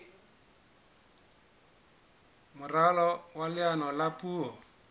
moralo wa leano la puo